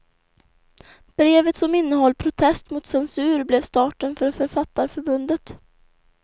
Brevet som innehöll protest mot censur blev starten för författarförbundet.